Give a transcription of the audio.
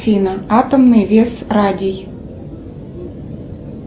афина атомный вес радий